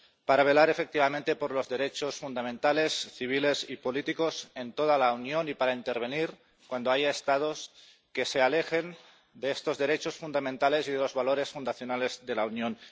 para velar efectivamente por los derechos fundamentales, civiles y políticos en toda la Unión y para intervenir cuando haya Estados que se alejen de estos derechos fundamentales y de los valores fundacionales de la Unión